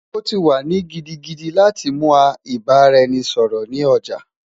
O ti wa ni gidigidi lati mu a ibaraẹnisọrọ ni oja